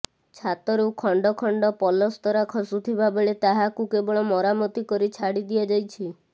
ଛାତରୁ ଖଣ୍ଡ ଖଣ୍ଡ ପଲସ୍ତରା ଖସୁଥିବାବେଳେ ତାହାକୁ କେବଳ ମରାମତି କରି ଛାଡି ଦିଆଯାଇଛି